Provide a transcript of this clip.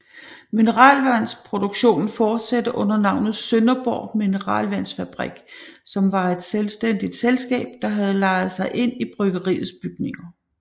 Mineralvandsproduktionen fortsatte under navnet Sønderborg Mineralvandsfabrik som var et selvstændigt selskab der havde lejet sig ind i bryggeriets bygninger